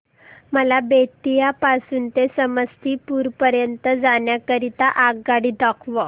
मला बेत्तीयाह पासून ते समस्तीपुर पर्यंत जाण्या करीता आगगाडी दाखवा